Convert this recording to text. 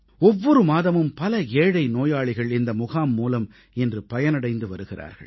ஒவ்வொரு மாதமும் பல ஏழை நோயாளிகள் இந்த முகாம் மூலம் இன்று பயனடைந்து வருகிறார்கள்